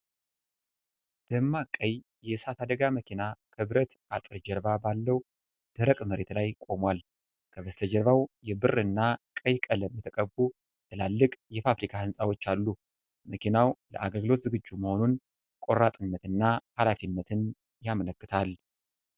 ደማቅ ቀይ የእሳት አደጋ መኪና ከብረት አጥር ጀርባ ባለው ደረቅ መሬት ላይ ቆሟል። ከበስተጀርባው የብርና ቀይ ቀለም የተቀቡ ትላልቅ የፋብሪካ ህንፃዎች አሉ። መኪናው ለአገልግሎት ዝግጁ መሆኑን ቆራጥነትና ኃላፊነትን ያመለክታል።